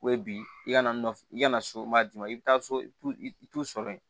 Ko ye bi i ka naf i kana so maa d'i ma i bɛ taa so i t'u sɔrɔ yen